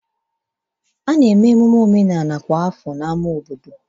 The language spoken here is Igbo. Ememe omenala kwa afọ ga-ewere ọnọdụ na ámá obodo.